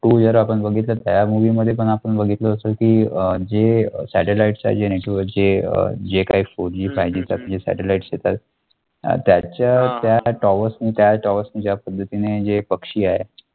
two जर आपण बघितला, त्या movie मध्ये पण आपण बघितले असेल की अं जे satellite चे जे network जे अं जे काही four G fiveG चे जे काही satellite येतात अं त्याच्या त्या towers नी त्या towers नी ज्या पद्धतीने जे पक्षी आहे,